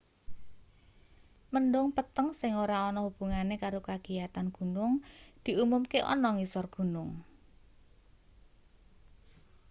mendhung peteng sing ora ana hubungane karo kagiyatan gunung diumumke ana ngisor gunung